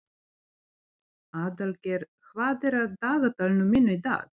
Aðalgeir, hvað er á dagatalinu mínu í dag?